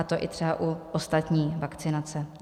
A to i třeba u ostatní vakcinace.